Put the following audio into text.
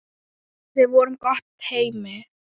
Við vorum gott teymi.